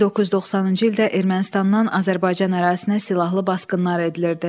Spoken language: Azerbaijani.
1990-cı ildə Ermənistandan Azərbaycan ərazisinə silahlı basqınlar edilirdi.